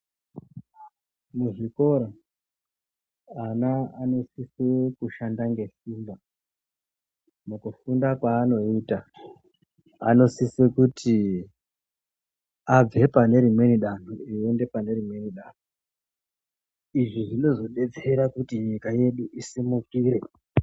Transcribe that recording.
Muzvikora ana anosise kushanda ngesimba mukufunda kwaanoita. Anosise kuti abve panerimweni danho achiende panerimweni danho. Izvi zvinozodetsera kuti nyika yedu isimukire.